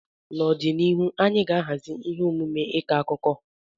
N'ọdịnihu, anyị ga-ahazi ihe omume ịkọ akụkọ.